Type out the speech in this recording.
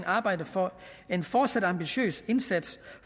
arbejde for en fortsat ambitiøs indsats